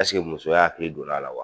muso ya hakili donna a la wa?